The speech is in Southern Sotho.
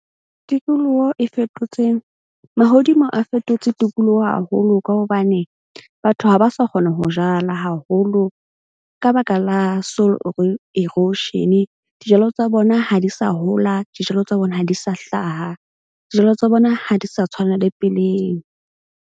Tikoloho e fetotse, mahodimo a fetotse tikoloho haholo ka hobane batho ha ba sa kgona ho jala haholo ka baka la soil erosion-e. Dijalo tsa bona ha di sa hola, dijalo tsa bona ha di sa hlaha. Dijalo tsa bona ha di sa tshwana le peleng.